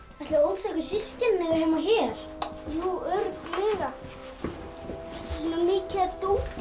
ætli óþekku systkinin eigi heima hér örugglega svona mikið af dóti